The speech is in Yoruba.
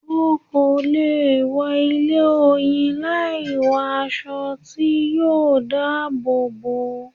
O kò lè wọ ilé Oyin láì wọ aṣọ tí yóò dá àbọ̀ bò ọ́.